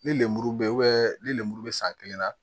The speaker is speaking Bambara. Ni lemuru be ni lemuru be san kelen na